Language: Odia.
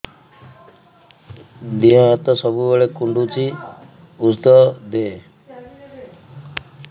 ଦିହ ହାତ ସବୁବେଳେ କୁଣ୍ଡୁଚି ଉଷ୍ଧ ଦେ